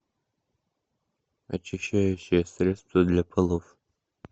очищающее средство для полов